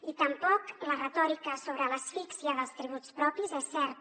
i tampoc la retòrica sobre l’asfíxia dels tributs propis és certa